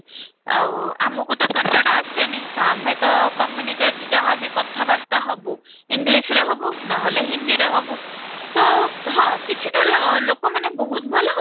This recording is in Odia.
ଆଉ ଆମକୁ ତ କନ୍ନଡା ଆସେନି ତ ଆମେ ତ communicate ଯାହା ବି କଥା ବାର୍ତ୍ତା ହେବୁ english ରେ ହେବୁ ନ ହେଲେ ହିନ୍ଦୀରେ ହେବୁ ତ ହଁ କିଛିଟା ଲୋକ ମାନେ ବହୁତ ଭଲ